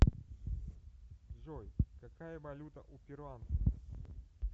джой какая валюта у перуанцев